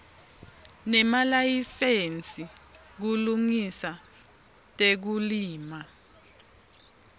nemalayisensi kulungisa tekulima